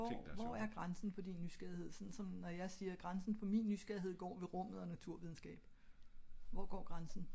hvor er grænsen for din nysgerrighed såen så når jeg siger min grænse for nysgerrighed er rummet og naturvidenskab hvor går grænsen for din nysgerrighed?